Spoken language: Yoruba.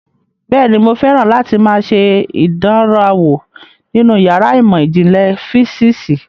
Bẹ́ẹ̀ni, mo fẹ́ràn láti máa ṣe ìdánrawò nínú yàrá ìmọ̀ ìjìnlẹ̀ físíìsì